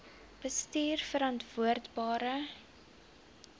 bestuurverantwoordbare